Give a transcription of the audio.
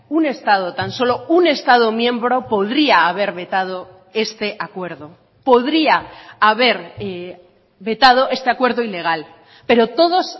un estado tan solo un estado miembro podría haber vetado este acuerdo podría haber vetado este acuerdo ilegal pero todos